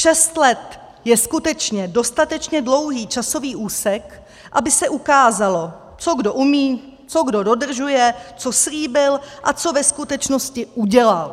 Šest let je skutečně dostatečně dlouhý časový úsek, aby se ukázalo, co kdo umí, co kdo dodržuje, co slíbil a co ve skutečnosti udělal.